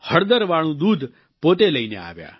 હળદરવાળું દૂધ પોતે લઈને આવ્યા